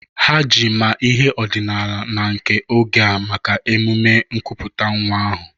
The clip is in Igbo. Ha ji ma ihe ọdịnala na nke oge a maka emume nkuputa nwa ahu.